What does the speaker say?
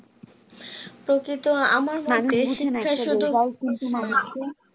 প্রকৃত আমার হাতে